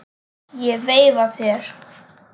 Ég veifa þér.